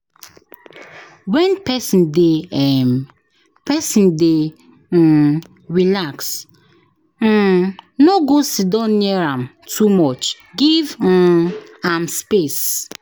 When pesin dey um pesin dey um relax, um no go siddon near am too much, give um am space.